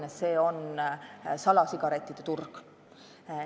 See probleem on salasigarettide turg.